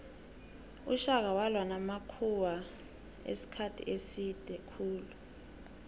ushaka walwa namakhuwamisikhathi eside khulu